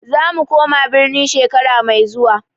Zamu koma birni shekara mai zuwa.